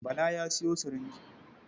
Bala ya sayo sirinji.